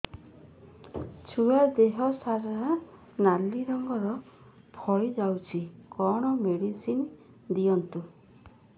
ଛୁଆ ଦେହ ସାରା ନାଲି ରଙ୍ଗର ଫଳି ଯାଇଛି କଣ ମେଡିସିନ ଦିଅନ୍ତୁ